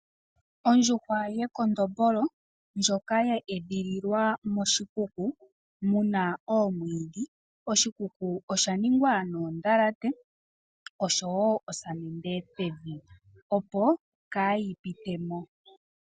Ondjuhwa ye kondombolo ndjoka ya edhililwa moshikuku muna omwiidhi. Oshikuku osha ningwa noondhalate osho wo oosamente pevi, opo kaa yi pitemo.